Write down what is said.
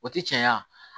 O ti cɛya